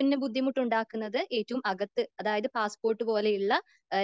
പിന്നെ ബുദ്ധിമുട്ടുണ്ടാക്കുന്നത് ഏറ്റവും അകത്തെ കള്ളിയിൽ.അതായത് പാസ്പോർട്ട് പോലുള്ള